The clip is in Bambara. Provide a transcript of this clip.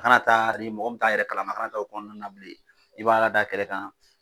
A kana taa ni mɔgɔ t'a yɛrɛ kalama a ka na taa o kɔnɔna na bilen i b'a da kɛrɛ kan